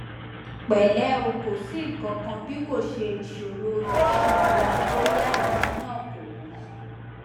pẹlẹ o ko si nkankan bikoṣe iṣoro iṣanara boya idi naa ko mọ